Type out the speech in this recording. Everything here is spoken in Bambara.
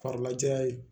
Farila jayan ye